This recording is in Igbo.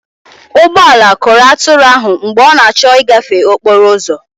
ụgbọ ala kụrụ atụrụ ahụ mgbe ọ na-achọ ịgafe okporo ụzọ